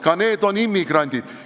Ka nemad on immigrandid.